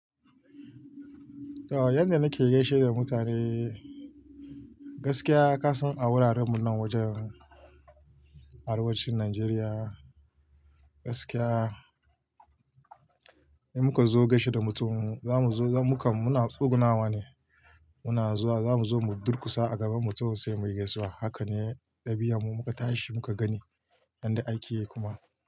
To, yadda nake gaishe da mutane, gaskiya ka san a wurarenmu nan wajen arewacin Najeriya, gaskiya in muka zo gaishe da mutum mu zamu zo muka, muna tsugunawa ne muna zuwa. Zamu zo mu durkusa a gaban mutum sai muyi gaisuwa. Haka ne ɗabi'armu muka tashi muka gani yadda ake yi kuma.